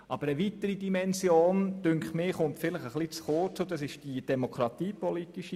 Hier kommt vielleicht eine weitere Dimension etwas zu kurz, nämlich die demokratiepolitische.